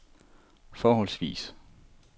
forholdsvis